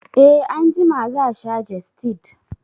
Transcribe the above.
E, Anjima za sha jestid